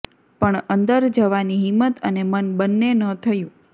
પણ અંદર જવાની હિંમત અને મન બંને ન થયું